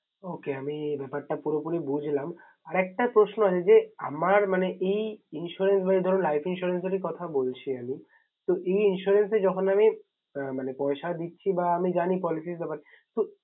Okay আমি ব্যাপারটা আমি পুরোপুরি বুঝলাম। আর একটা প্রশ্ন আছে যে, আমার মানে এই insurance বা life insurance যে কথা বলছি আমি। তো এই insurance এ যখন আমি মানে পয়সা দিচ্ছি বা আমি জানি policy ব্যাপারটা